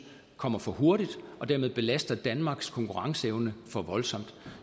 kommer for hurtigt og dermed belaster danmarks konkurrenceevne for voldsomt